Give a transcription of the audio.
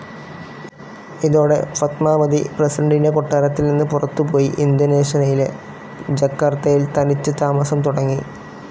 ഇതോടെ, ഫത്മാവതി പ്രസിഡന്റിന്റെ കൊട്ടാരത്തിൽ നിന്ന് പുറത്തുപോയി ഇന്തോനേഷ്യയിലെ ജക്കാർത്തയിൽ തനിച്ച് താമസം തുടങ്ങി.